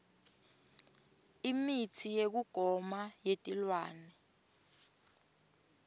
imitsi yekugoma yetilwane